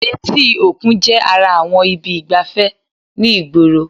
Etí òkun jẹ́ ara àwọn ibi ìgbafẹ́ ni ìgboro